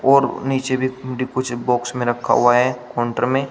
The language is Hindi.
और नीचे भी कुछ बॉक्स में रखा हुआ है काउंटर में।